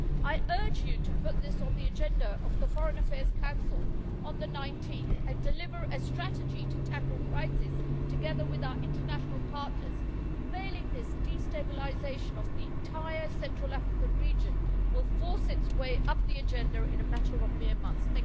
I urge you to put this on the agenda of the Foreign Affairs Council on the 19th and deliver a strategy to tackle the crisis, together with our international partners. Failing this, destabilisation of the entire Central African region will force its way up the agenda in a matter of mere months.